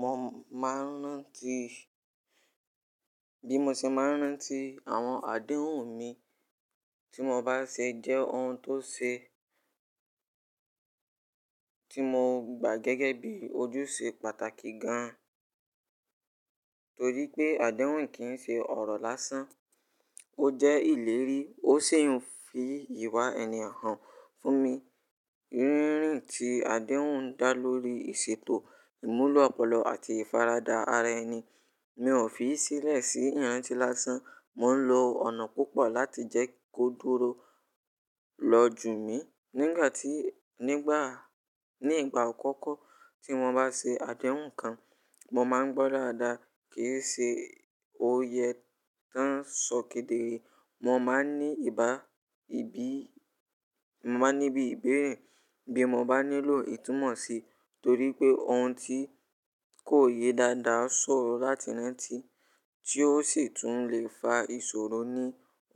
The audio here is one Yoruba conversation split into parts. Mo máa ń rántí, bí mo ṣe máa ń rántí àwọn àdéhùn mi tí mo bá ṣe jẹ́ ohun tó ṣe, tí mo gbà gẹ́gẹ́ bí ojúṣe pàtàkì gan-an. Torí pé àdéhùn kì í ṣe ọ̀rọ̀ lásán, ó jẹ́ ìlérí, ó sì ń fi ìwà ẹni han fún mi. Rírin ti àdéhùn dá lórí ìṣètò ìmúlò ọpọlọ àti ìfaradà ara ẹni. Mi ò fi í sílẹ̀ sí ìrántí lásán, mò ń lo ọ̀nà púpọ̀ láti jẹ́ kó dúró loju mi. Nígbà tí, nígbà, ní ìgbà akọ́kọ́ tí mo bá ṣe àdéhùn kan, mo máa ń gbọ́ dáadáa kí sì ṣe ó yẹ tán ṣòkè dérè. Mo máa ní ìbá, ìbí, mo máa ní bí ìbéèrè bí mo bá nílò ìtúmọ̀ si torí pé ohun tí kò yẹ dáadáa sọ̀rọ̀ láti rántí tí ó sì tún lè fa ìṣòro ní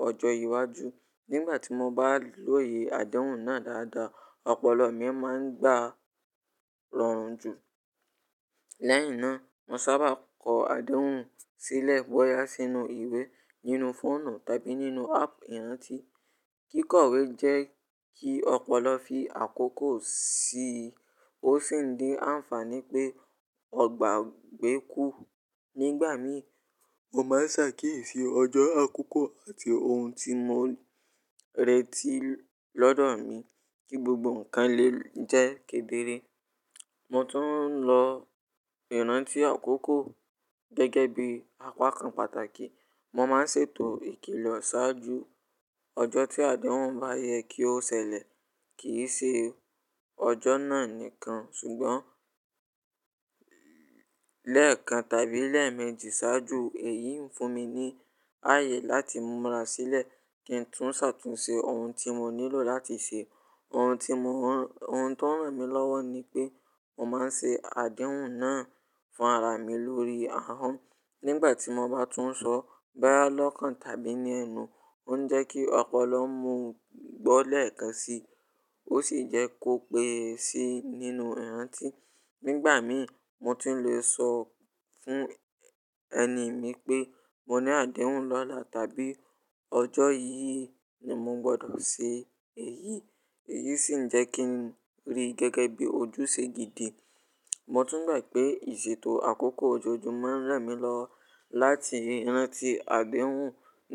ọjọ́ iwájú. Nígbà tí mo bá lòye àdéhùn náà dáadáa, ọpọlọ mi a máa ń gba rọrùn jù. Lẹ́yìn náà, mo sábà kọ àdéhùn sílẹ̀ bóyá sínú ìwé, nínú fóònù tàbí nínú áàpù ìrántí. Kíkọ̀wé jẹ́ kí ọpọlọ fi àkókò si, ó sì ń dín àǹfààní pé ọgbàgbé kú. Nígbà mi, mo máa ń ṣàkíyèsí ọjọ́ akókò àti ohun tí mò ń retí lọ́dọ̀ mi kí gbogbo nǹkan lè jẹ́ kedere. Mo tún ń lo ìrántí àkókò gẹ́gẹ́ bí apakan pàtàkì. Mo máa ń ṣètò ìkìlọ̀ ṣáájú ọjọ́ tí àdéhùn bá yẹ kí ó ṣẹlẹ̀. Kì í ṣe ọjọ́ náà nìkan ṣùgbọ́n lẹ́ẹ̀kan tàbí lẹ́ẹ̀mejì ṣáájú. Èyí ń fún mi ní ààyè láti múra sílẹ̀ kí n tún ṣàtúnṣe ohun tí mò nílò láti ṣe. Ohun tí mò ń, ohun tó ń ràn mí lọ́wọ́ ni pé mò máa ń ṣe àdéhùn náà fún ara mi lórí ahọ́n. Nígbà tí mo bá tún sọ, boya lọ́kan tàbí ní ẹnu, ó ń jẹ́ kí ọpọlọ mú gbọ́ lẹ́ẹ̀kan si, ó sì jẹ́ kó pé e si nínú ìrántí. Nígbà mi, mo tún lè sọ fún ẹni mi pé mo ní àdéhùn lọ́la tàbí ọjọ́ yìí ni mo gbọdọ̀ ṣe èyí. Èyí sì ń jẹ́ kí n rí gẹ́gẹ́ bí ojúṣe gidi. Mo tún gbà pé ìṣètò àkókò ojoojúmọ́ ń ràn mí lọ láti rántí àdéhùn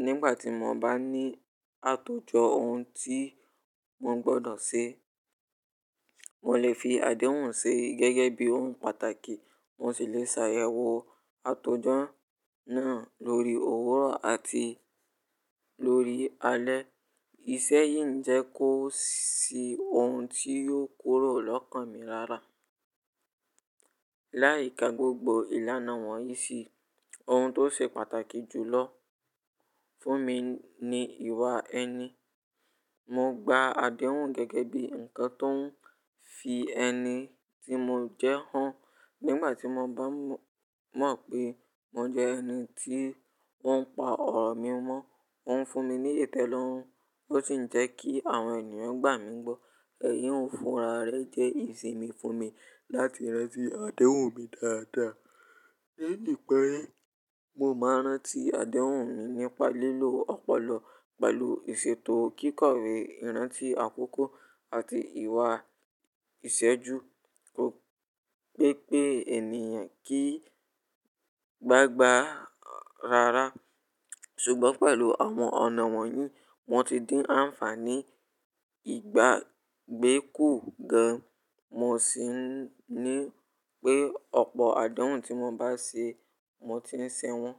nígbà tí mo bá ní àtòjọ ohun tí mò ń gbọdọ̀ ṣe. Mo lè fi àdéhùn ṣe gẹ́gẹ́ bí ohun pàtàkì, mo sì lè ṣàyẹ̀wò àtòjọ́ náà ló owúrọ̀ àti lalẹ́. Iṣẹ́ yìí ń jẹ́ kó si ohun tí yóò kúrò lọ́kàn mi lára. Láì ka gbogbo ìlànà wọ̀nyí sì, ohun tó ṣe pàtàkì jùlọ fún mi ni ìwà ẹni. Mo gba àdéhùn gẹ́gẹ́ bí ǹkan tó ń fi ẹni tí mo jẹ́ hàn. Nígbà tí mo bá mọ̀ pé mo jẹ ẹni tí wọ́n pa ọ̀rọ̀ mi mọ́, ó ń fún mi ní ìtẹ́lọ́rùn, ó sì ń jẹ́ kí àwọn ènìyàn gbà mí gbọ́. Ẹ̀yí ń fúnra rẹ jẹ́ ìsinmi fún mi láti rántí àdéhùn mi dáadáa. Ní ìpẹ̀, mo máa ń rántí àdéhùn mi nípa lílo ọpọlọ, pẹ̀lú ìṣètò kíkọ̀wé, ìrántí àkókò àti ìwà ìṣẹ́ju. Ó pẹ́ pé ènìyàn kìí gbágbà ara rẹ̀, ṣùgbọ́n pẹ̀lú àwọn ọ̀nà wọ̀nyí, wọ́n ti dín àǹfààní ìgbàgbé kù gan. Mo sì ní pé ọ̀pọ̀ àdéhùn tí mo bá ṣe, mo ti ń ṣe wọ́n.